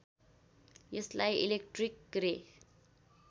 यसलाई इलेक्ट्रिक रे